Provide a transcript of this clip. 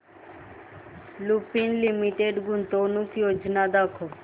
Lupin limited गुंतवणूक योजना दाखव